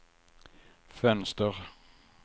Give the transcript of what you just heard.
fönster